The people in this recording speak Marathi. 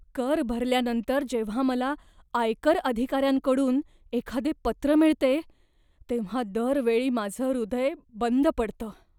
कर भरल्यानंतर जेव्हा मला आयकर अधिकाऱ्यांकडून एखादे पत्र मिळते तेव्हा दर वेळी माझं हृदय बंद पडतं.